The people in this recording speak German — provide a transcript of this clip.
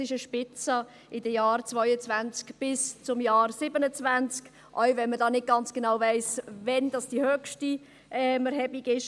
Es ist eine Spitze in den Jahren 2022 bis 2027, selbst wenn man nicht genau weiss, wann die höchste Erhebung ist.